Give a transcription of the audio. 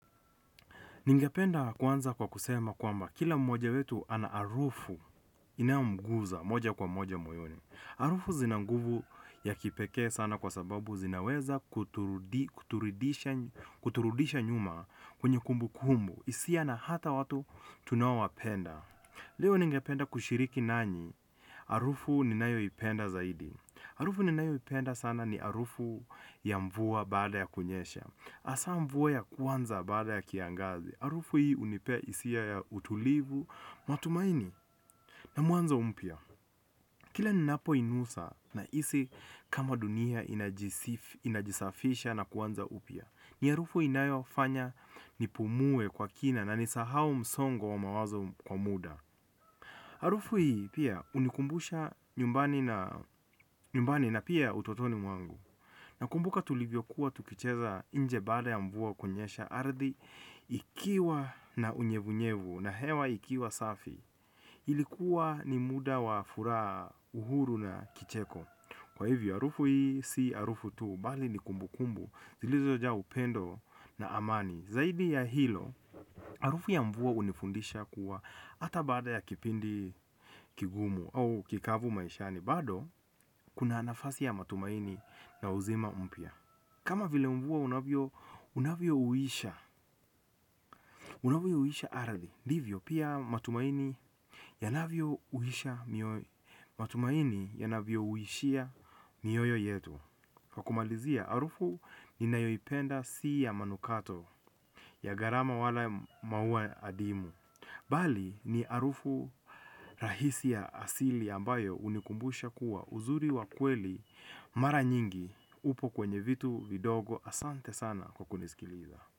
Ningependa kuanza kwa kusema kwamba kila mmoja wetu anaharufu inayo mguza moja kwa moja moyoni. Harufu zinanguvu ya kipekee sana kwa sababu zinaweza kuturudisha nyuma kwenye kumbu kumbu. Isiya na hata watu tunaowapenda. Leo ningependa kushiriki nanyi harufu ninayoipenda zaidi. Harufu ninayoipenda sana ni harufu ya mvua baada ya kunyesha hasa mvua ya kwanza baada ya kiangazi, harufu hii hunipea hisia ya utulivu, matumaini, na mwanzo mpya. Kila ninapo inusa nahisi kama dunia inajisafisha na kuanza upya. Ni harufu inayo fanya nipumue kwa kina na nisahau msongo wa mawazo kwa muda harufu hii pia hunikumbusha nyumbani na pia utotoni mwangu. Nakumbuka tulivyo kuwa tukicheza inje baada ya mvua kunyesha ardhi ikiwa na unyevunyevu na hewa ikiwa safi. Ilikuwa ni muda wa furaha uhuru na kicheko. Kwa hivyo harufu hii si harufu tuu bali ni kumbukumbu zilizoja upendo na amani. Zaidi ya hilo harufu ya mvua hunifundisha kuwa ata baada ya kipindi kigumu au kikavu maishani. Bado kuna nafasi ya matumaini na uzima mpya. Kama vile mvua unavyo uisha unavyo uisha ardhi ndivyo pia matumaini yanavyo uisha. Matumaini yanavyo uishia ni yoyo yetu. Kwa kumalizia harufu ninayoipenda si ya manukato ya gharama wala maua hadimu bali ni harufu rahisi ya asili ambayo hunikumbusha kuwa uzuri wa kweli mara nyingi upo kwenye vitu vidogo asante sana kwa kunisikiliza.